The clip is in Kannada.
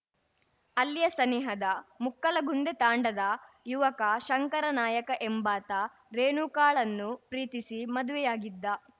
ಅಲ್ಲಿಯ ಸನಿಹದ ಮುಕ್ಕಲಗುಂದೆ ತಾಂಡಾದ ಯುವಕ ಶಂಕರ ನಾಯಕ ಎಂಬಾತ ರೇಣುಕಾಳನ್ನು ಪ್ರೀತಿಸಿ ಮದುವೆಯಾಗಿದ್ದ